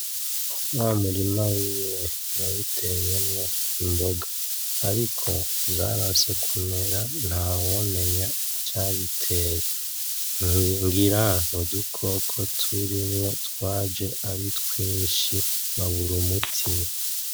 Wa murima wiwe yawuteyemwo imboga ariko zaranse kumera, ntawomenya icabiteye. Ngira n'udukoko turimwo twaje ari twinshi, abura umuti.